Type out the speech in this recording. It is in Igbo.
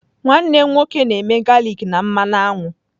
Nwanne m nwoke na-eme galik na mmanụ aṅụ.